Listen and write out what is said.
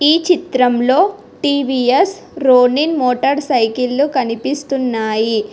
ఈ చిత్రంలో TVS Ronin motor cycle కనిపిస్తున్నాయి.